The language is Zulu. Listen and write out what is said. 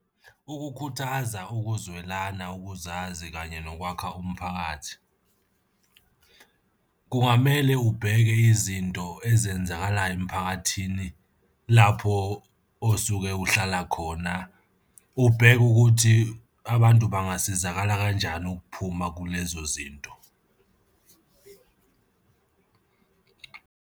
Ukukhuthaza ukuzwelana, ukuzazi, kanye nokwakha umphakathi kungamele ubheke izinto ezenzakalayo emphakathini lapho osuke uhlala khona, ubheke ukuthi abantu bangasizakala kanjani ukuphuma kulezo zinto.